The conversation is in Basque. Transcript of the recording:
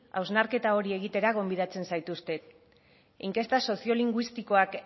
hausnarketa hori egitera gonbidatzen zaituztet inkesta soziolinguistikoak